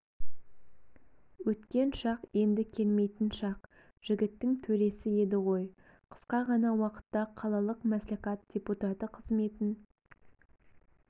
өткен шақ енді келмейтін шақ жігіттің төресі еді ғой қысқа ғана уақытта қалалық мәслихат депутаты қызметін